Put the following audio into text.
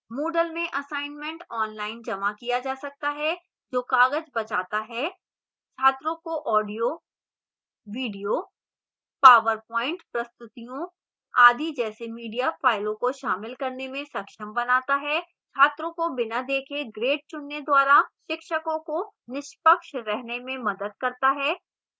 moodle में assignment online जमा किया जा सकता है जो कागज बचाता है छात्रों को ऑडियो वीडियो पावरपॉइंट प्रस्तुतियों आदि जैसे मीडिया फ़ाइलों को शामिल करने में सक्षम बनाता है